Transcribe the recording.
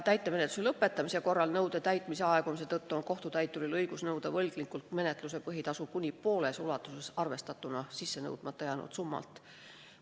Täitemenetluse lõpetamisel nõude täitmise aegumise tõttu on kohtutäituril õigus nõuda võlgnikult menetluse põhitasu kuni pooles ulatuses arvestatuna sissenõudmata jäänud summalt.